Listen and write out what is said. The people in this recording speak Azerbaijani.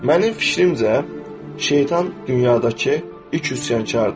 Mənim fikrimcə, şeytan dünyadakı ilk üsyankardır.